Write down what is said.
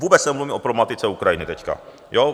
vůbec nemluvím o problematice Ukrajiny teď.